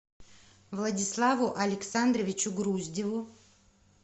владиславу александровичу груздеву